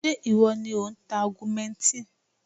Ṣé ìwọ ni ò ń ta augmentin?